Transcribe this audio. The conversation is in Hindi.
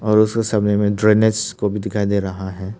और उस समय में ड्रेनेज को भी दिखाई दे रहा है।